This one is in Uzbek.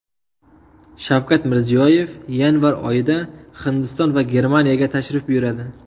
Shavkat Mirziyoyev yanvar oyida Hindiston va Germaniyaga tashrif buyuradi.